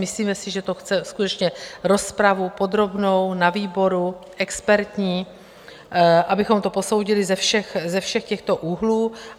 Myslíme si, že to chce skutečně rozpravu podrobnou na výboru, expertní, abychom to posoudili ze všech těchto úhlů.